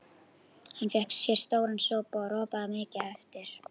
Hann fékk sér stóran sopa og ropaði mikið á eftir.